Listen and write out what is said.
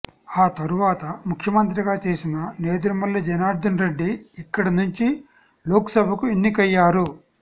ఆ తరువాత ముఖ్యమంత్రిగా చేసిన నేదురుమల్లి జనార్దనరెడ్డి ఇక్కడ నుంచి లోక్సభకు ఎన్నికయ్యారు